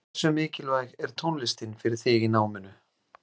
Hversu mikilvæg er tónlistin fyrir þig í náminu?